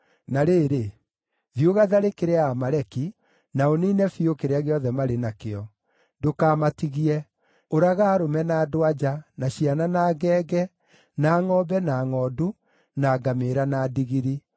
Na rĩrĩ, thiĩ ũgatharĩkĩre Aamaleki, na ũniine biũ kĩrĩa gĩothe marĩ nakĩo. Ndũkamatigie; ũraga arũme na andũ-a-nja, na ciana na ngenge, na ngʼombe na ngʼondu, na ngamĩĩra na ndigiri.’ ”